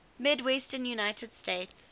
midwestern united states